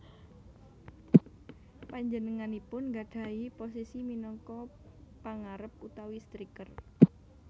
Panjenenganipun nggadhahi posisi minangka pangarep utawi striker